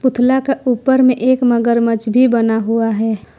पुतला का ऊपर में एक मगरमच्छ भी बना हुआ है।